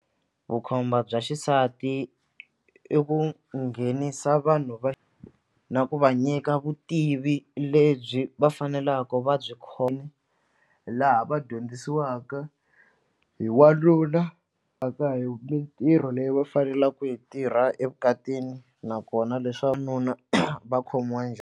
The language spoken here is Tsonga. Vukhomba bya xisati i ku nghenisa vanhu va na ku va nyika vutivi lebyi va faneleke va byi laha va dyondzisiwaka hi wanuna hi mintirho leyi va faneleke ku yi tirha evukatini nakona va khomiwa njhani.